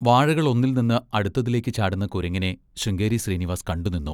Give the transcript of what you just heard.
വാഴകളൊന്നിൽനിന്ന്‌ അടുത്തതിലേക്ക് ചാടുന്ന കുരങ്ങിനെ ശൃംഗേരി ശ്രീനിവാസ് കണ്ടുനിന്നു.